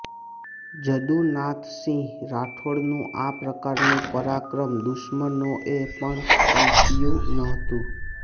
જદુનાથસિંહ રાઠોડનું આ પ્રકારનું પરાક્રમ દુશ્મનોએ પણ કલ્પ્યું નહોતું